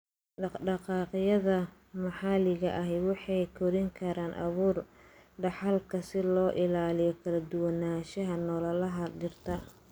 Dhaqdhaqaaqyada maxalliga ah waxay korin karaan abuur dhaxalka si loo ilaaliyo kala duwanaanshaha noolaha dhirta.